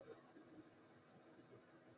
Baba na ya saya ma keke na sabon feda